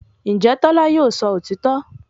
Ǹjẹ́ Tọ́lá yóò sọ òtítọ́